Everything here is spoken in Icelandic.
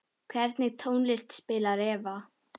Hvernig tónlist spilar Eva?